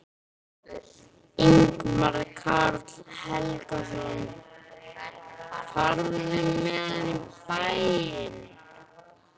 Ingimar Karl Helgason: Ferðu með hann í bæinn?